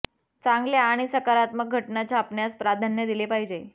चांगल्या आणि सकारात्मक घटना छापण्यास प्राधान्य दिले पाहिजे